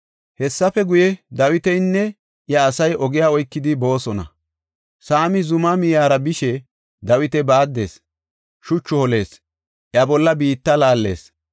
Hessafe guye, Dawitinne iya asay ogiya oykidi boosona. Saami zumaa miyara bishe Dawita baaddees; shuchu holees; iya bolla biitta laallees.